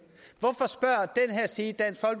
her side dansk